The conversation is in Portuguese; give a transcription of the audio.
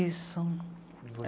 Isso.